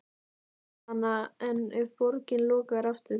Jóhanna: En ef borgin lokar aftur?